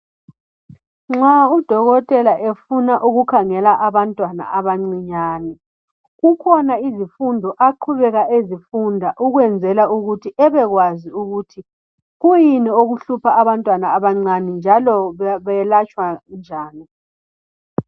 Nxa udokotela efuna ukukhangela abantwana abancinyane, kukhona izifundo aqhubeka ezifunda ukwenzela ukuthi ebekwazi ukuthi kuyini okuhlupha abantwana abancane njalo belatshwa njani.